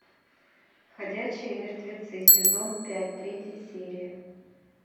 ходячие мертвецы сезон пять третья серия